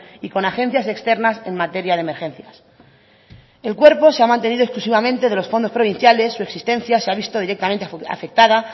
y con agencias externas en materia de emergencias el cuerpo se ha mantenido exclusivamente de los fondos provinciales su existencia se ha visto directamente afectada